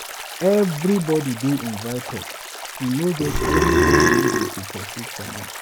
Everybody dey invited, e no get anybody wey dey go pursue comot.